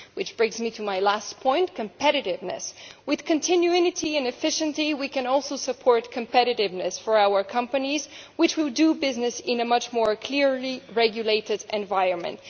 This brings me to my last point competitiveness. With continuity and efficiency, we can also support competitiveness for our companies, which will do business in a much more clearly regulated environment.